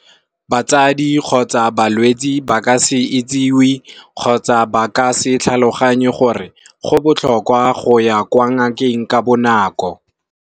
Batsadi kgotsa balwetsi ba ka se itsiwe kgotsa ba ka se tlhaloganye gore go botlhokwa go ya kwa ngakeng ka bonako.